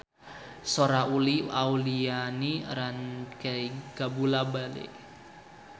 Sora Uli Auliani rancage kabula-bale